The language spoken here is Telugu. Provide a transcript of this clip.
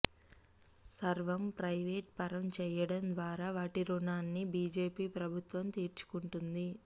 సర్వం ప్రయివేటు పరం చేయడం ద్వారా వాటి రుణాన్ని బీజేపీ ప్రభుత్వం తీర్చుకుంటోంది